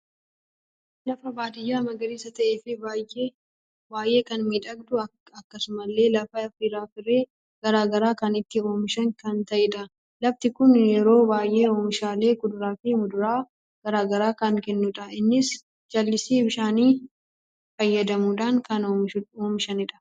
Lafa baadiyya magariisa ta'e fi baay'ee kan miidhagudha. Akkasumalle lafa firaa firee garaagaraa kan itti oomishan kan ta'edha. lafti kun yeroo baay'ee oomishaalee kuduraa fi muduraa garaagara kan kennudha. innis jallisi bishaani fayyadamudhan kan oomishanidha.